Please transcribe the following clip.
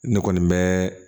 Ne kɔni bɛ